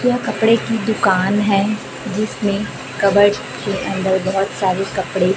यह कपड़े की दुकान है जिसमें कबर्ड के अंदर बहुत सारे कपड़े--